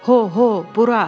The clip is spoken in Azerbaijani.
"Ho, ho, bura!"